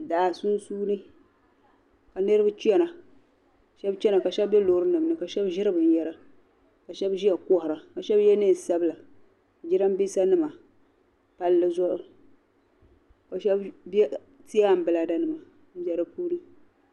Daa sunsuuni, ka niribi chana shab chana ka shabi be lɔɔri nimni ka shab ziri bin yara, ka shabi ziya kohira, ka shabi ye nee n sabila jiranbisa nima, palli zuɣu ka shabi ti ambirela, nima n be di puuni.